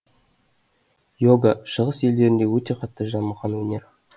иога шығыс елдерінде өте қатты дамыған өнер